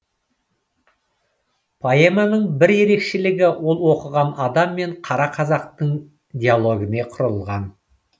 поэманың бір ерекшелігі ол оқыған адам мен қара қазақтың диалогіне құрылған